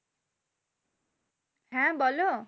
হ্যাঁ বোলো।